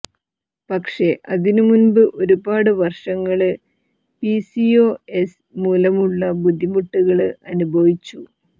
പക്ഷേ അതിന് മുമ്പ് ഒരുപാട് വര്ഷങ്ങള് പിസിഒഎസ് മൂലമുള്ള ബുദ്ധിമുട്ടുകള് അനുഭവിച്ചു